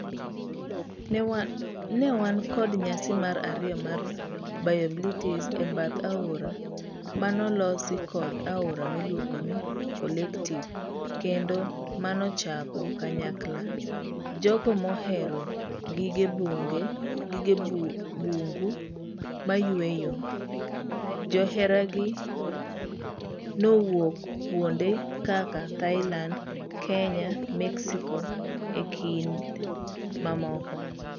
Ne wan kod nyasi mar ariyo mar BioBlitz ebath aora manolosi kod aora miluongo ni Collective kendo manochoko kanyakla jogo mohero gige bungu mayueyo. Joheragi nowuok kuonde kaka Thailand, Kenya, Mexico, ekind mamoko.